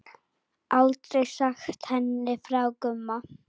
Aldrei sagt henni frá Gumma.